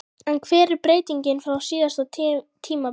En hver er breytingin frá síðasta tímabili?